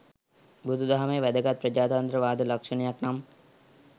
බුදු දහමේ වැදගත් ප්‍රජාතන්ත්‍රවාද ලක්ෂණයක් නම්,